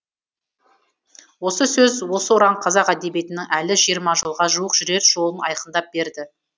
осы сөз осы ұран қазақ әдебиетінің әлі жиырма жылға жуық жүрер жолын айқындап берді